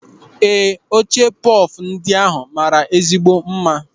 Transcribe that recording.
Ee, oche pọf ndị ahụ mara ezigbo mma.